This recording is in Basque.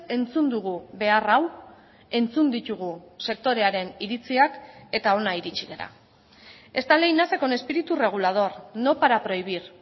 entzun dugu behar hau entzun ditugu sektorearen iritziak eta hona iritsi gara esta ley nace con espíritu regulador no para prohibir